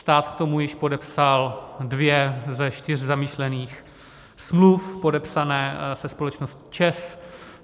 Stát k tomu již podepsal dvě ze čtyř zamýšlených smluv podepsaných se společností ČEZ.